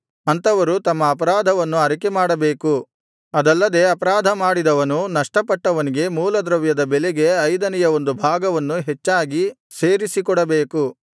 ಅಂಥವರು ತಮ್ಮ ಅಪರಾಧವನ್ನು ಅರಿಕೆಮಾಡಬೇಕು ಅದಲ್ಲದೆ ಅಪರಾಧ ಮಾಡಿದವನು ನಷ್ಟಪಟ್ಟವನಿಗೆ ಮೂಲದ್ರವ್ಯದ ಬೆಲೆಗೆ ಐದನೆಯ ಒಂದು ಭಾಗವನ್ನು ಹೆಚ್ಚಾಗಿ ಸೇರಿಸಿ ಕೊಡಬೇಕು